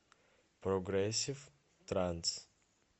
прогрессив транс